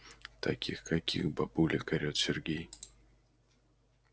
таких каких бабулек орет сергей